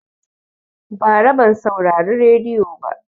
Bara ban saurari rediyo ba